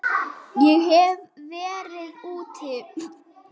Ég hef verið úti.